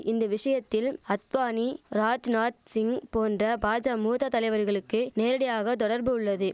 இந்த விஷயத்தில் அத்வானி ராஜ்நாத் சிங் போன்ற பாஜா மூத்த தலைவர்களுக்கு நேரடியாக தொடர்பு உள்ளது